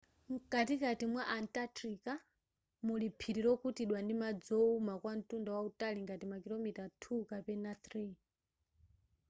nkatikati mwa antartica muli phiri lokutidwa ndi madzi owuma kwa ntunda wautali ngati makilomita 2 mpaka 3